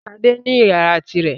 Ṣadé ní ìyàrá tirẹ̀.